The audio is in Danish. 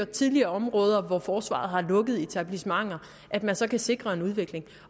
tidligere områder og byer hvor forsvaret har lukket etablissementer at man så kan sikre en udvikling